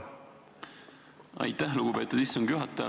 Aitäh, lugupeetud istungi juhataja!